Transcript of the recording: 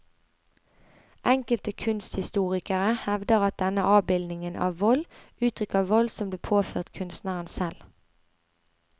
Enkelte kunsthistorikere hevder at denne avbildingen av vold uttrykker vold som ble påført kunstneren selv.